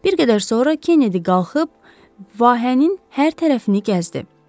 Bir qədər sonra Kennedy qalxıb, vahənin hər tərəfini gəzdi.